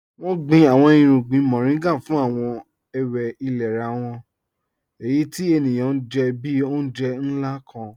Wọn gbìn àwọn ìrùgbìn Mọ̀rìngà fún àwọn èwé ìlẹ̀rà wọn, èyí tí ènìyàn jẹ́ bí ọ̀unjẹ̀ nlá kàn.